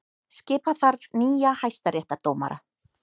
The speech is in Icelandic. Skipa þarf nýja hæstaréttardómara